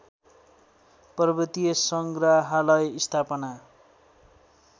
पर्वतीय सङ्ग्रहालय स्थापना